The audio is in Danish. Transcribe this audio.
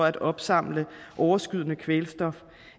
at opsamle overskydende kvælstof